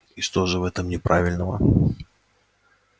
и что же в этом неправильного